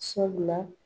Sabula